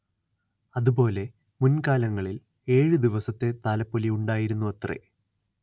അതുപോലെ മുൻ കാലങ്ങളിൽ ഏഴ് ദിവസത്തെ താലപ്പൊലി ഉണ്ടായിരുന്നുവത്രെ